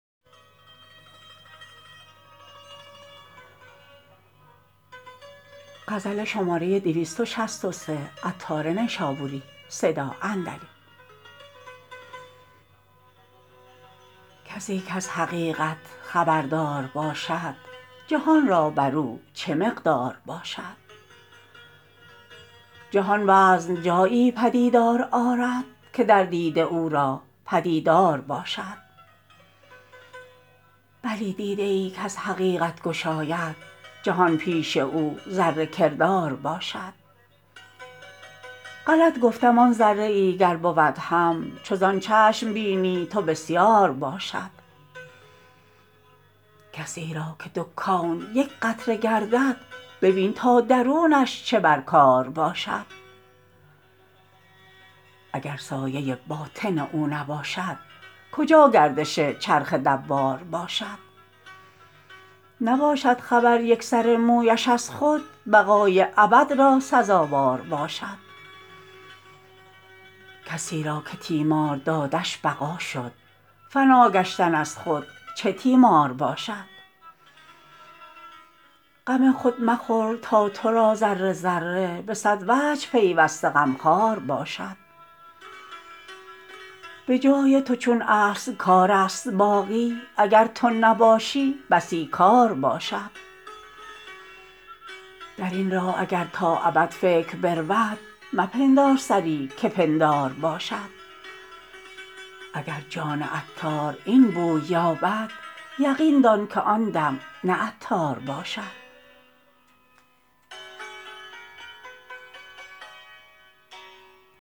کسی کز حقیقت خبردار باشد جهان را بر او چه مقدار باشد جهان وزن جایی پدیدار آرد که در دیده او را پدیدار باشد بلی دیده ای کز حقیقت گشاید جهان پیش او ذره کردار باشد غلط گفتم آن ذره ای گر بود هم چو زان چشم بینی تو بسیار باشد کسی را که دو کون یک قطره گردد ببین تا درونش چه بر کار باشد اگر سایه باطن او نباشد کجا گردش چرخ دوار باشد نباشد خبر یک سر مویش از خود بقای ابد را سزاوار باشد کسی را که تیمار دادش بقا شد فنا گشتن از خود چه تیمار باشد غم خود مخور تا تو را ذره ذره به صد وجه پیوسته غمخوار باشد به جای تو چون اصل کار است باقی اگر تو نباشی بسی کار باشد درین راه اگر تا ابد فکر برود مپندار سری که پندار باشد اگر جان عطار این بوی یابد یقین دان که آن دم نه عطار باشد